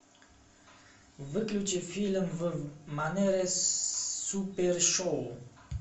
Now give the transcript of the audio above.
выключи фильм в манере супер шоу